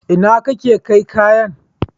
Inna kana kai kayan?